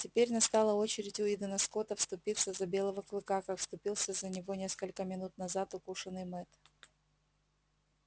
теперь настала очередь уидона скотта вступиться за белого клыка как вступился за него несколько минут назад укушенный мэтт